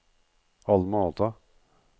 Alma Ata